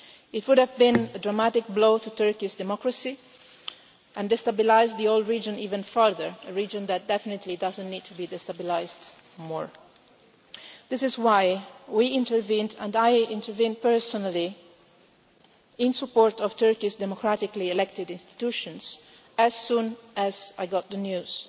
It would have been a dramatic blow to Turkey's democracy and destabilised the whole region even further, a region that definitely does not need to be destabilised still more. This is why we intervened and I intervened personally in support of Turkey's democratically elected institutions as soon as I got the news.